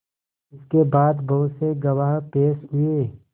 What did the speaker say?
इसके बाद बहुत से गवाह पेश हुए